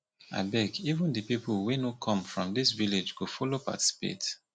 abeg even the people wey no come from dis village go follow participate